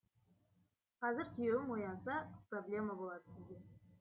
қазір күйеуім оянса проблема болады сізге